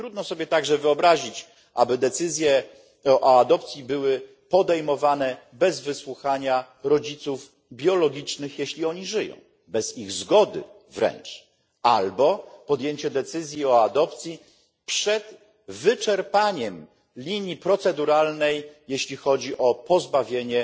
Trudno sobie także wyobrazić, aby decyzje o adopcji były podejmowane bez wysłuchania rodziców biologicznych, jeśli oni żyją, bez ich zgody wręcz czy też przed wyczerpaniem linii proceduralnej, jeśli chodzi o pozbawienie